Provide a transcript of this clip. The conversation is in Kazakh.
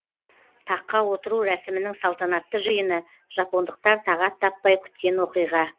таққа отыру рәсімінің салтанатты жиыны жапондықтар тағат таппай күткен оқиға